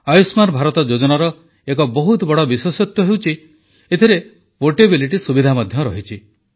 ଆୟୁଷ୍ମାନ ଭାରତ ଯୋଜନାର ଏକ ବହୁତ ବଡ଼ ବିଶେଷତ୍ୱ ହେଉଛି ଏଥିରେ ପୋର୍ଟେବିଲିଟି ସୁବିଧା ମଧ୍ୟ ରହିଛି